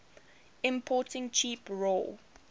importing cheap raw